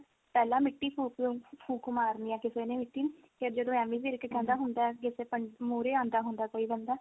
ਪਹਿਲਾਂ ਮਿੱਟੀ ਫੁੱਕ ਅਹ ਫੁੱਕ ਮਾਰਨੀ ਹੈ ਕਿਸੀ ਨੇ ਫਿਰ ਜਦੋਂ ਐਮੀ ਵਿਰਕ ਕਹਿੰਦਾ ਹੁੰਦਾ ਕੀ ਅਹ ਮੂਹਰੇ ਆਉਂਦਾ ਹੁੰਦਾ ਕੋਈ ਬੰਦਾ